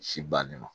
Si bannen ma